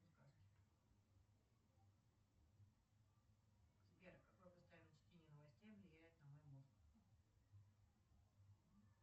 сбер какое постоянное чтение новостей влияет на мой мозг